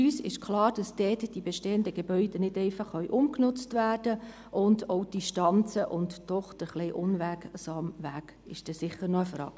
Für uns ist klar, dass dort die bestehenden Gebäude nicht einfach umgenutzt werden können, und auch die Distanzen und der doch eher unwegsame Weg ist sicher noch eine Frage.